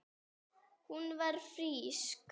Hún var frísk.